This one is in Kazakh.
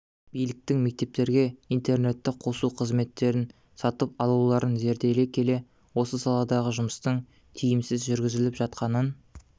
биліктің мектептерге интернетті қосу қызметтерін сатып алуларын зерделей келе осы саладағы жұмыстың тиімсіз жүргізіліп жатқанын